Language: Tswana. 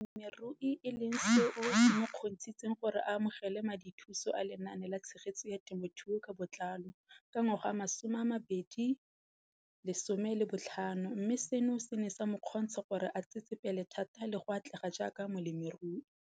Balemirui e leng seo se mo kgontshitseng gore a amogele madithuso a Lenaane la Tshegetso ya Te mothuo ka Botlalo, CASP] ka ngwaga wa 2015, mme seno se ne sa mo kgontsha gore a tsetsepele thata le go atlega jaaka molemirui.